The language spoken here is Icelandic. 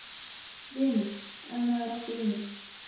. vinur, ef maður átti vini.